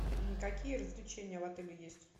какие развлечения в отеле есть